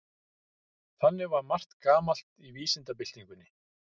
Þannig var margt gamalt í vísindabyltingunni.